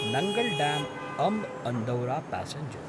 Nangal ड्याम्–अम्ब् Andaura passenger